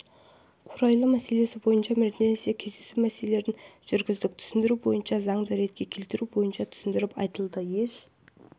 қурайлы мәселесі бойынша бірнеше кездесу мәселелерін жүргіздік түсіндіру бойынша заңды ретке келтіру бойынша түсіндіріп айтылды еш